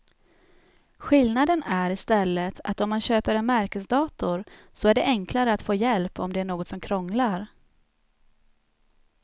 Skillnaden är i stället att om man köper en märkesdator så är det enklare att få hjälp om det är något som krånglar.